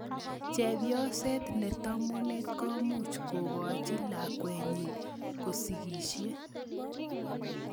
Chepyoset ne tomono komuch kokachi lakwetnyi kosikisie